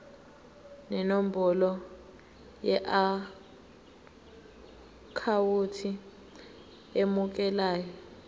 nenombolo yeakhawunti emukelayo